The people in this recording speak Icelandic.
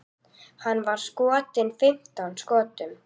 Hann var skotinn fimmtán skotum.